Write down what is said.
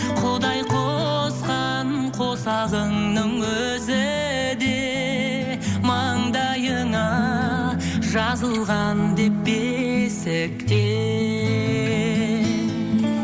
құдай қосқан қосағыңның өзі де мандайыңа жазылған деп бесіктен